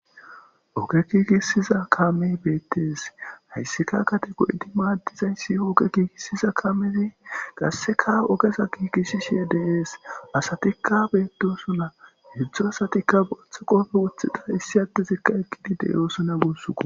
oge giigisiza kame beettees hayssika gade go7idi maaddizayssi ooge giigisiza kamey qasseka ogeza giigissishe de7ees asatikka beetosona hedzdzu asatikka boththa qofe woththida issi addezikka ekqidi deyoosona gussukko